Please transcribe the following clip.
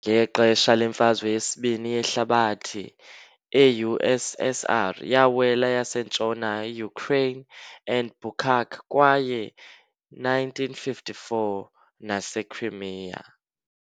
Ngexesha leMfazwe yeSibini yeHlabathi eU.SSR yawela yasentshona Ukraine and Bucak kwaye 1954 - NaseCrimea.